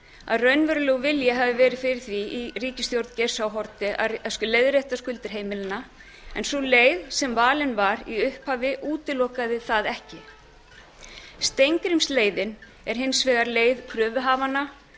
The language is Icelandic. að raunverulegur vilji hafi verið fyrir því í ríkisstjórn geirs h haarde að leiðrétta skuldir heimilanna en sú leið sem valin var í upphafi útilokaði það ekki steingrímsleiðin er hins vegar leið kröfuhafanna